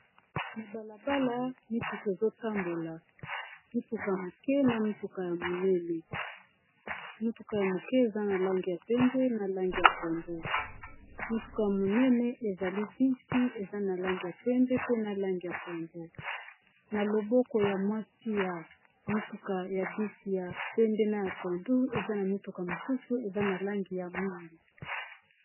Na balabala mituka ezotambola motuka ya mokie na mutuka ya munene mutuka ya mukie eza na langi ya pembe na langi ya pondu motuka ya monene ezali bisi eza na langi ya pembe pe na langi ya pondu na loboko ya mwasi ya motuka ya bisi ya pembe na ya pondu eza na mituka mosusu eza na langi ya mwindu